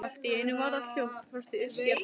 Allt í einu varð allt hljótt.